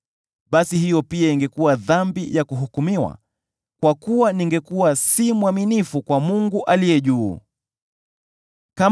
basi hiyo pia ingekuwa dhambi ya kuhukumiwa, kwa kuwa ningekuwa si mwaminifu kwa Mungu aishiye juu sana.